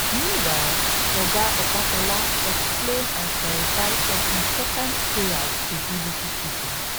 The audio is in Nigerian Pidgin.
meanwhile oga opatola explain and clarify some important prayers to bbc pidgin